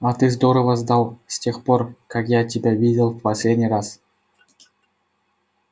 а ты здорово сдал с тех пор как я тебя видел в последний раз